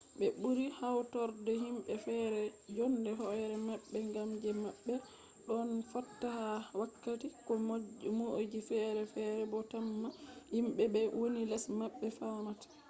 ɓe ɓuri hautorde himɓe feere jonde hoere maɓɓe ngam je maɓɓe ɗon fotta ha wakkati ko moijo feere feere bo temma himɓe be woni les maɓɓe famata